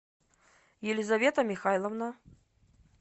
елизавета михайловна